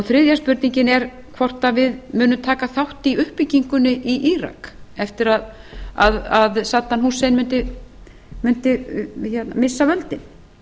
þriðja spurningin er hvort við munum taka þátt í uppbyggingunni í írak þegar saddam hussein væri búinn að missa völdin